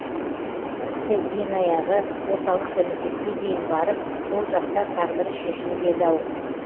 тіпті ең аяғы орталық комитетке дейін барып сол жақта тағдыры шешіліп еді ау